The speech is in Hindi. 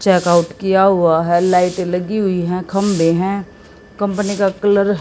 चेक आउट किया हुआ है लाइटे लगी हुई है खंभे हैं कंपनी का कलर --